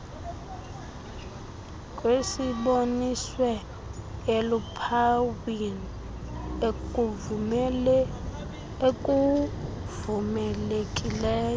kwesiboniswe eluphawini ekuvumelekileyo